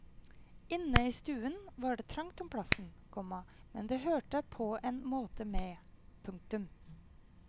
Inne i stuen var det trangt om plassen, komma men det hørte på en måte med. punktum